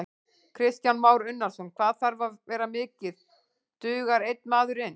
Kristján Már Unnarsson: Hvað þarf það að vera mikið, dugar einn maður inn?